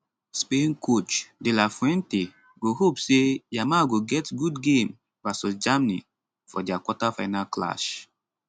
spain coach de la fuente go hope say yamal go get good game vs germany for dia quarterfinal clash